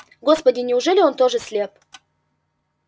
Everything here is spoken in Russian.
господи неужели он тоже слеп